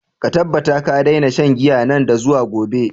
Ka tabbata ka daina shan giya nan da zuwa gobe!